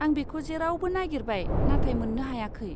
आं बेखौ जेरावबो नागेरबाय नाथाय मोन्नो हायाखै।